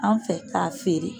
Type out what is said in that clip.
An fɛ k'a feere